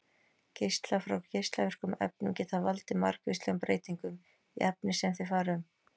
Geislar frá geislavirkum efnum geta valdið margvíslegum breytingum í efni sem þeir fara um.